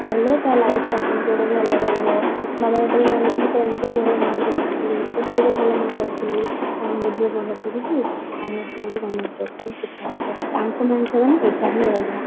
କଲେ ତା life ଟା କେମିତି ଗୋଟେ ଭଲ ରହିବ ବାବା ଯେତେବେଳେ ଜାଣିଲେ ମୁଁ tenth ରେ ଭଲ mark ରଖିଥିଲି plus two ରେ ଭଲ mark ରଖିଥିଲି ଆଉ ମୋ ଝିଅ ଭଲ ପଢୁଛି ଆରବର୍ଷ ଆଡକୁ government job ପାଇଁ prepare ହବ ତାଙ୍କୁ main ଏଟା ହିଁ ରହିଲା